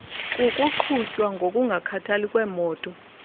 kukuqhutywa ngokungakhathali kwemoto